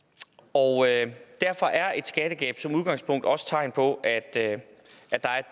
og derfor er et skattegab som udgangspunkt også et tegn på at der er et